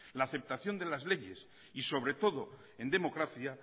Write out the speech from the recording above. la aceptación de las leyes y sobre todo en democracia